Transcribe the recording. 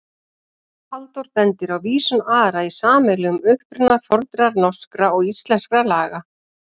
Halldór bendir á vísun Ara í sameiginlegan uppruna fornra norskra og íslenskra laga.